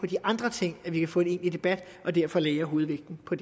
de andre ting vi kan få en egentlig debat og derfor lagde jeg hovedvægten på